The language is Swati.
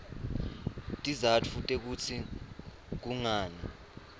tizatfu tekutsi kungani